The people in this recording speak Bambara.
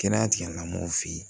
Kɛnɛya tigilamɔgɔw fɛ yen